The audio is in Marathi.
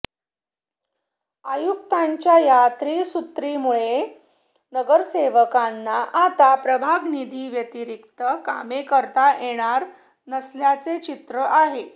आयुक्तांच्या या त्रिसूत्रींमुळे नगरसेवकांना आता प्रभाग निधी व्यतिरिक्त कामे करता येणार नसल्याचे चित्र आहे